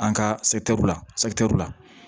An ka la la